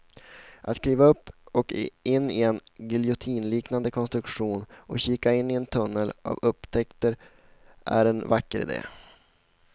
Att kliva upp och in i en giljotinliknande konstruktion och kika in i en tunnel av upptäckter är en vacker idé.